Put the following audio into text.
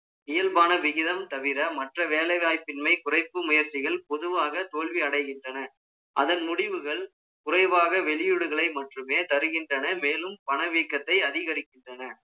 இயல்பான விகிதம் தவிர, மற்ற வேலை வாய்ப்பின்மை, குறைக்கும் முயற்சிகள், பொதுவாக, தோல்வியடைகின்றன. அதன் முடிவுகள், குறைவாக, வெளியூடுகளை மட்டுமே, தருகின்றன. மேலும், பண வீக்கத்தை, அதிகரிக்கின்றன